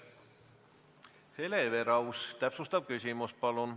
Hele Everaus, täpsustav küsimus, palun!